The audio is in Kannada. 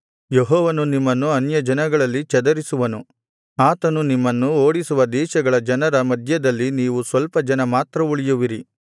ಯೆಹೋವನು ನಿಮ್ಮನ್ನು ಅನ್ಯಜನಗಳಲ್ಲಿ ಚದರಿಸುವನು ಆತನು ನಿಮ್ಮನ್ನು ಓಡಿಸುವ ದೇಶಗಳ ಜನರ ಮಧ್ಯದಲ್ಲಿ ನೀವು ಸ್ವಲ್ಪ ಜನ ಮಾತ್ರ ಉಳಿಯುವಿರಿ